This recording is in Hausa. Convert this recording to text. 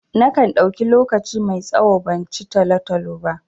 Na kan ɗauki lokaci mai tsawo ban ci talo-talo ba.